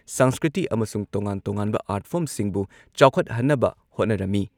ꯁꯪꯁꯀ꯭ꯔꯤꯇꯤ ꯑꯃꯁꯨꯡ ꯇꯣꯉꯥꯟ-ꯇꯣꯉꯥꯟꯕ ꯑꯥꯔꯠ ꯐꯣꯔꯝꯁꯤꯡꯕꯨ ꯆꯥꯎꯈꯠꯍꯟꯅꯕ ꯍꯣꯠꯅꯔꯝꯃꯤ